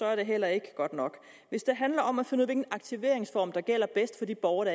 er det heller ikke godt nok hvis det handler om at finde ud af hvilken aktiveringsform der er bedst for de borgere